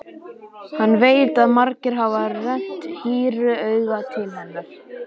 Hann veit að margir hafa rennt hýru auga til hennar.